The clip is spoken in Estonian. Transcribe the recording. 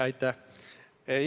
Aitäh!